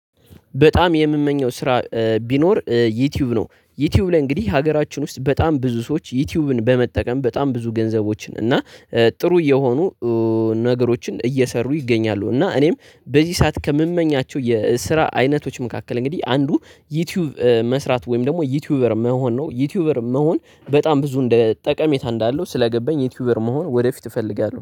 በጣም የምመኘው ስራ ቢኖር ዩቲዩብ ነው ዩቲዩብ ላይ እንግዲህ ሀገራችን ውስጥ በጣም ብዙ ሰዎች ዩቲዩብን በመጠቀም በጣም ብዙ ገንዘቦችን እና ጥሩ የሆኑ ነገሮችን እየሰሩ ይገኛሉ። እና እኔም በዚህ ሰዓት ከምመኛቸው የስራ አይነቶች መካከል እንግዲህ አንዱ ዩቲዩብ መስራት ወይም ደግሞ ዩቲዩበር መሆን ነው። ዩቲዩበር መሆን በጣም ብዙ እንደ ጠቀሜታ እንዳለው ስለገባኝ ዩቲዩበር መሆን ወደፊት እፈልጋለሁ